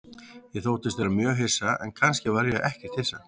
Ég þóttist vera mjög hissa, en kannski var ég ekkert hissa.